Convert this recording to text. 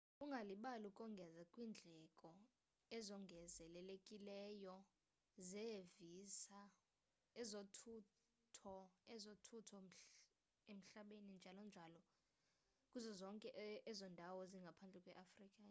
ungalibali ukongeza kwiindleko ezongezelelekileyo zeevisa ezothutho ezothutho emhlabeni njl.njl kuzo zonke ezo ndawo zingaphandle kweafrika